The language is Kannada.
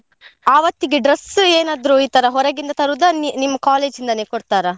ಆವತ್ತಿಗೆ dress ಏನಾದ್ರು ಈ ತರ ಹೊರಗಿಂದ ತರೋದ ನಿಮ್ college ಇಂದಲೇ ಕೊಡ್ತಾರಾ?